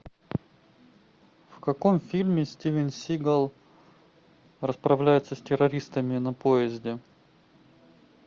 в каком фильме стивен сигал расправляется с террористами на поезде